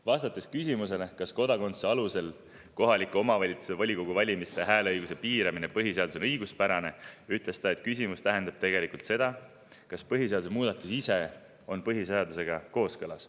Vastates küsimusele, kas kodakondsuse alusel kohaliku omavalitsuse volikogu valimisel hääleõiguse piiramine põhiseaduses on õiguspärane, ütles ta, et küsimus tähendab tegelikult seda, kas põhiseaduse muudatus ise on põhiseadusega kooskõlas.